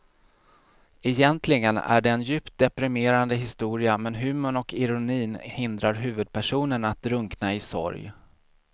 Egentligen är det en djupt deprimerande historia men humorn och ironin hindrar huvudpersonen att drunkna i sorg.